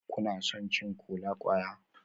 Kuna son cin kola-kwaya?